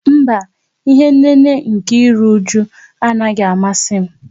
Mba, ihé nnéné nkè írú újú a naghị amasị m